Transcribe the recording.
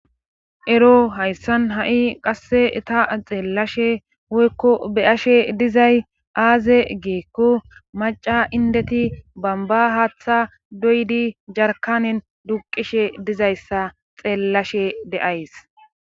ero hayssan ha7i qasse ta xeellashe woykko beyashe dizay aaze giikko maca indeti bamba haaththa doydi jarkanen duqishe dizayssa xeellashe deays